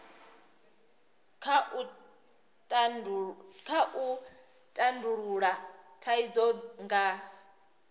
kha u tandulula thaidzo nga